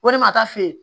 Ko ne ma taa f'i ye